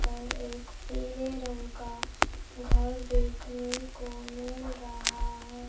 पर एक पीले रंग का घर देखने को मिल रहा है।